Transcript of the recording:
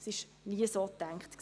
Das war nie so gedacht.